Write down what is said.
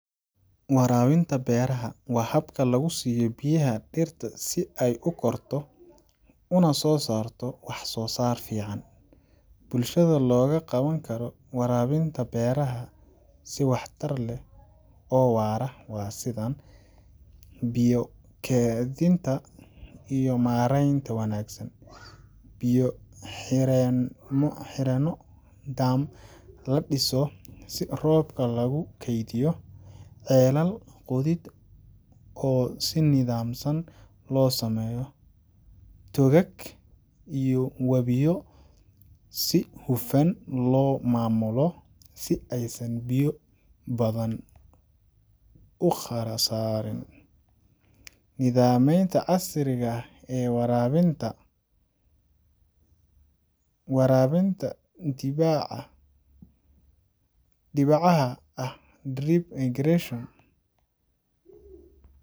Warabinta beeraha waa habka lagu siiyo biyaha dhirta si ay u korto una soo saarto wax soo saar fiican. Bulshada looga qaban karo warabinta beeraha si waxtar leh oo waara waa sidan: Biyo Kaydinta iyo Maareynta Wanaagsan Biyo-xireenno dam la dhiso si roobka lagu kaydiyo. Ceelal qodid oo si nidaamsan loo sameeyo. Togag iyo wabiyo si hufan loo maamulo si aysan biyo badan u khasaarin. Nidaamyada Casriga ah ee Warabinta Warabinta dhibcaha ah drip irrigation.